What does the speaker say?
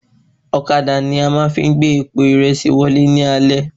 Ọ̀kadà ni a máa fi gbé àpò ìrẹsí wọlé ní alẹ́